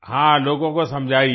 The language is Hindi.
हाँ लोगों को समझाइये